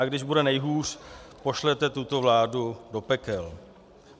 A když bude nejhůř, pošlete tuto vládu do pekel.